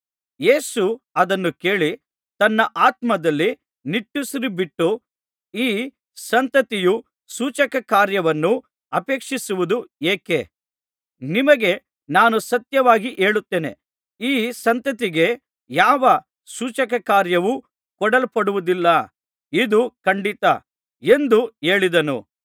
ಯೇಸು ಅದನ್ನು ಕೇಳಿ ತನ್ನ ಆತ್ಮದಲ್ಲಿ ನಿಟ್ಟುಸಿರುಬಿಟ್ಟು ಈ ಸಂತತಿಯು ಸೂಚಕಕಾರ್ಯವನ್ನು ಅಪೇಕ್ಷಿಸುವುದು ಏಕೆ ನಿಮಗೆ ನಾನು ಸತ್ಯವಾಗಿ ಹೇಳುತ್ತೇನೆ ಈ ಸಂತತಿಗೆ ಯಾವ ಸೂಚಕಕಾರ್ಯವೂ ಕೊಡಲ್ಪಡುವುದಿಲ್ಲ ಇದು ಖಂಡಿತ ಎಂದು ಹೇಳಿದನು